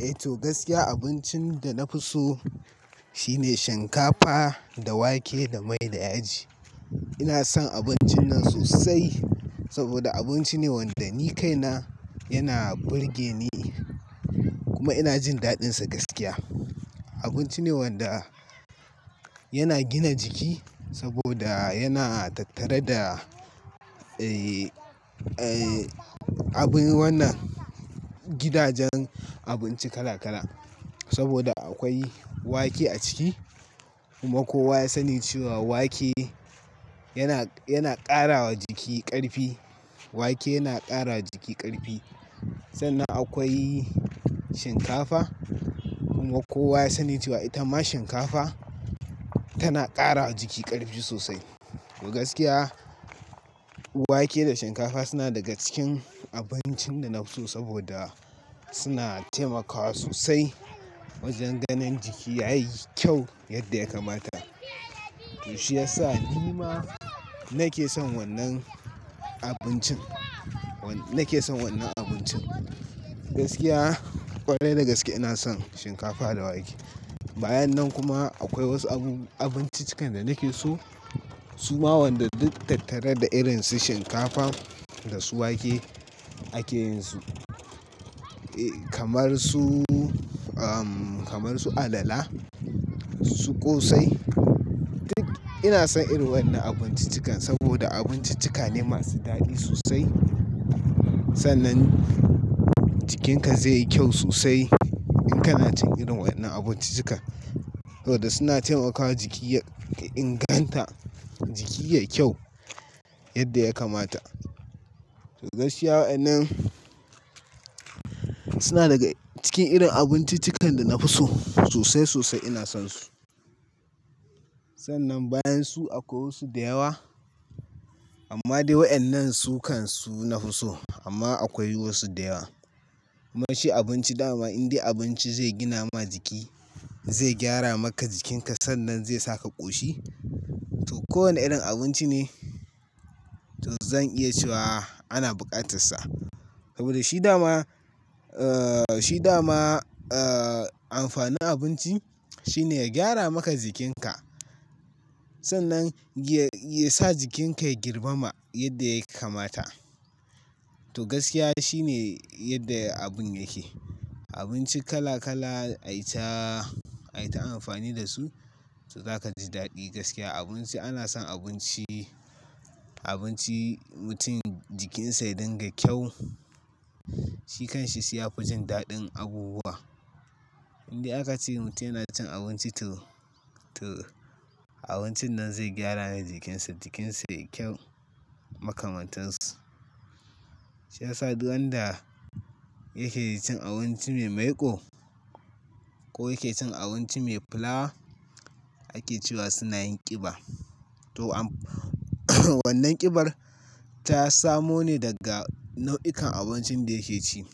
Eh to gaskiya abincin da na fi so shine shinkafa da wake da mai da yaji. Ina son abincin nan sosai saboda abinci ne wanda ni kaina yana burge ni kuma ina jin daɗinsa gaskiya. Abinci ne wanda yana gina jiki saboda yana tattare da, eh, eh, abin wannan gidajen abinci kala kala saboda akwai wake a ciki kuma kowa ya sani cewa wake yana, yana ƙara wa jiki ƙarfi. Wake yana ƙara jiki ƙarfi. Sannan akwai shinkafa kuma kowa ya sani cewa ita ma shinkafa tana ƙara jiki ƙarfi sosai. To gaskiya wake da shinkafa suna daga cikin abincin da na fi so saboda suna taimakawa sosai wajen ganin jiki yayi kyau yadda ya kamata. To shi ya sa ni ma nake son wannan abincin, nake son wannan abincin. Gaskiya ƙwarai da gaske ina son shinkafa da wake. Bayan nan kuma akwai wasu abu-- abinci cikan da nake so. Su ma wanda duk tattare da irin su shinkafa da su wake ake yin su. Eh, kamar su, ahmm, kamar su alala, su ƙosai. Duk ina son irin wannan abinciccikan saboda abinciccika ne masu daɗi sosai. Sannan jikinka zai yi kyau sosai in kana cin irin wannan abinciccika saboda suna taimakawa jiki inganta jiki yayi kyau yadda ya kamata. To gaskiya wa'annan suna daga cikin irin abinciccikan da na fi so sosai sosai ina son su. Sannan bayan su akwai wasu da yawa amma dai wa'annan sukan su na fi so amma akwai wasu da yawa. Mu ci abinci dama, in dai abinci zai gina ma jiki, zai gyara maka jikinka sannan zai saka ku ƙoshi. To kowane irin abinci ne to zan iya cewa ana buƙatar sa saboda shi dama, eh, shi dama, eh, amfanin abinci shine ya gyara maka jikinka. Sannan ya, ya sa jikinka ya girma yadda yake kamata. To gaskiya shi ne yadda abun yake. Abinci kala kala ai ta, ai ta amfani da su to za ka ji daɗi gaskiya. Abinci, ana son abinci, abinci mutum jikinsa ya dinga kyau. Shi kanshi shi ya fi jin daɗin abubuwa. Indai aka ce mutum yana cin abinci to, to abincin nan zai gyara masa jikinsa, jikinsa yayi kyau makamantashi. Shi ya sa duk wanda yake cin abinci mai maiƙo ko yake cin abinci mai filawa ake cewa suna yin ƙiba. To am-- wannan ƙibar ta samo ne daga nau'ikan abincin da yake ci.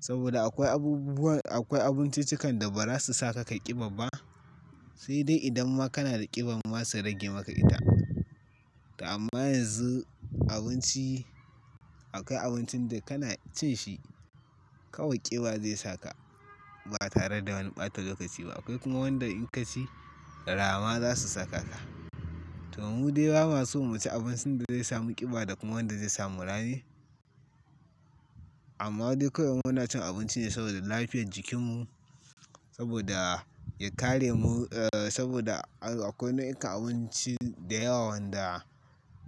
Saboda akwai abubuwa, akwai abinciccikan da ba za su sa ka ƙiɓa ba. Sai dai idan ma kana da ƙiban ma su rage maka ita. To amma yanzu abinci, akwai abincin da kana cin shi kawai ƙiba zai saka ba tare da wani ɓata ga kaci ba. Akwai kuma wanda in ka ci rama za su saka ka. To mu dai ba ma son mu ci abincin da zai samu ƙiba da kuma wadda zai samu rame. Amma dai kawai muna cin abinci ne saboda lafiyar jikinmu saboda ya kare mu, eh, saboda akwai nau'ikan abinci da yawa wanda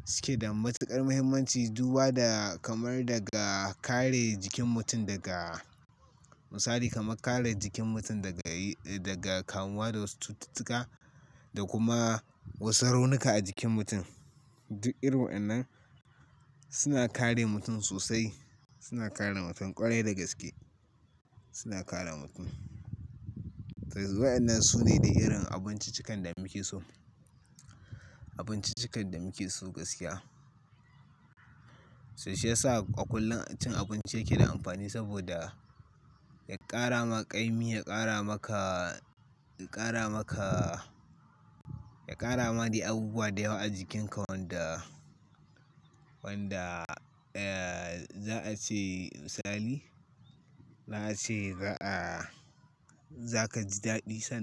suke da matuƙar muhimmanci. Duba da kamar daga kare jikin mutum daga misali kamar kare jikin mutum daga, daga kamuwa da wasu cututtuka da kuma wasu raunuka a jikin mutum. Duk irin wa'annan suna kare mutum sosai. Suna kare mutum ƙwarai da gaske. Suna kare mutum. To wa'annan su ne dai irin abinciccikan da muke so. Abinciccikan da muke so gaskiya. Shi ya sa a kullum cin abinci yake da amfani saboda ya ƙara ma ƙarfi, ya ƙara maka, ya ƙara maka, ya ƙara ma dai abubuwa da yawa a jikinka wanda, wanda, eh, za a ce misali, za a ce ga a zaka ji daɗi sanda.